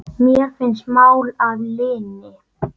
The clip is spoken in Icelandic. Mér finnst mál að linni.